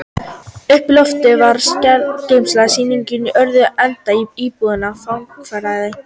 Uppi á loftinu var skjalageymsla sýslunnar og í öðrum endanum íbúð fangavarðar.